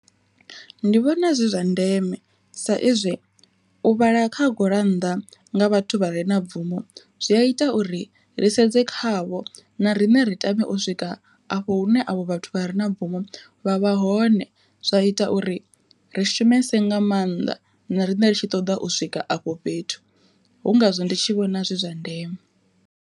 Ndi vhona zwi zwa ndeme, sa ezwi u vhala kha gurannḓa nga vhathu vha re na bvumo zwi a ita uri ri sedze khavho na riṋe ri tame u swika a afho hune avho vhathu vha re na bvumo vha vha hone zwa ita uri ri shumese nga maanḓa na riṋe ri tshi ṱoḓa u swika afho fhethu, hu ngazwo ndi tshi vhona zwi zwa ndeme.